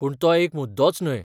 पूण तो एक मुद्दोच न्हय.